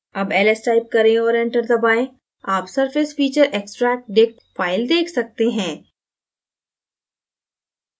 अब ls type करें और enter दबाएँ आप surfacefeatureextractdict file देख सकते हैं